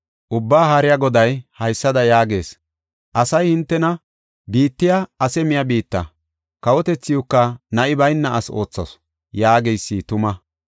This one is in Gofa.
Ubbaa Haariya Goday haysada yaagees asay hintena, “Biittay ase miya biitta” kawotethiuwka, “Na7i bayna asi oothasu” yaageysi tuma.